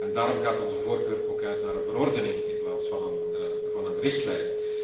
Daarom gaat onze voorkeur ook uit naar een verordening in plaats van naar een richtlijn.